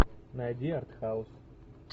найди артхаус